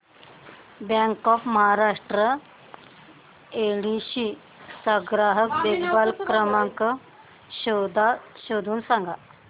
bank of Maharashtra Yedshi चा ग्राहक संपर्क क्रमांक शोधून सांग